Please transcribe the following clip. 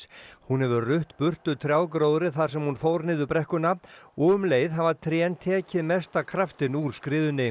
hún hefur rutt burtu trjágróðri þar sem hún fór niður brekkuna og um leið hafa trén tekið mesta kraftinn úr skriðunni